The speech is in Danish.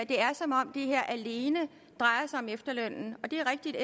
det er som om det her alene drejer sig om efterlønnen det er rigtigt at